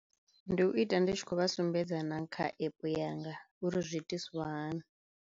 Ndi u ita ndi tshi khou vha sumbedza na kha app yanga uri zwi itiswa hani.